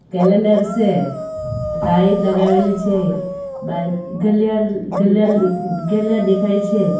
Calendar સે light લગાવેલી છે બાજ ઘાલિયાડ ઘાલિયાડ ઘાલિયાડ દેખાય છે.